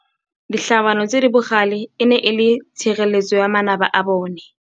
Ditlhabanô tse di bogale e ne e le tshirêlêtsô ya manaba a bone.